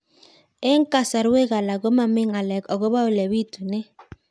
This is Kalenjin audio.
Eng' kasarwek alak ko mami ng'alek akopo ole pitunee